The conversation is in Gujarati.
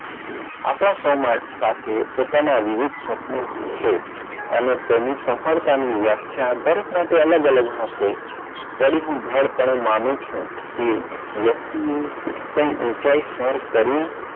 આકાશમાન સાથે પોતાના વિવિધ સ્વપન ભૂલે અને તેની સફળતાની વ્યાખ્યા આધારિત માટે અલગ અલગ હશે તેની હું પણ માનું છું કે વ્યક્તિ એ કઈ ઉંચાઈ સર કરવી,